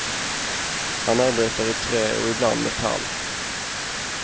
Han arbetar i trä och ibland metall.